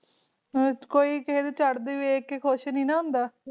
ਕੋਈ ਕਿਸੇ ਨੂੰ ਚਰਦਾ ਦਿੱਖ ਕਈ ਕੁਸ਼ ਨਹੀਂ ਨਾ ਹੁੰਦਾ